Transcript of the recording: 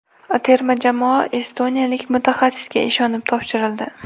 Terma jamoa estoniyalik mutaxassisga ishonib topshirildi.